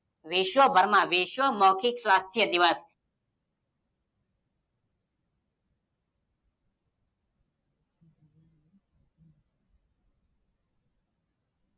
વિશ્વ ભરમાં વિશ્વ મૌખિક સ્વાસ્થ્ય દિવસ